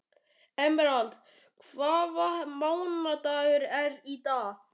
Emerald, hvaða mánaðardagur er í dag?